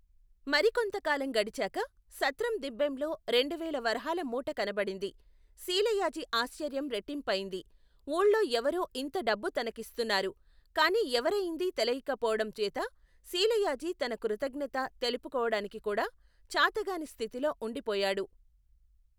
మరి కొంతకాలం గడిచాక, సత్రం దిబ్బెంలో రెండువేల వరహాల మూట కనబడింది, శీలయాజి ఆశ్చర్యం రెట్టింపయింది ఊళ్ళో ఎవరో ఇంత డబ్బు తనకిస్తున్నారు, కాని ఎవరయిందీ తెలియక పోవటంచేత, శీలయాజి తన కృతజ్ఞత, తెలుపుకోవడానికికూడా చాతగాని స్థితిలో ఉండి పోయాడు.